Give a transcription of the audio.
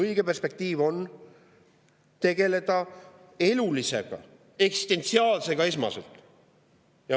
Õige perspektiiv on tegeleda esmaselt elulisega, eksistentsiaalsega.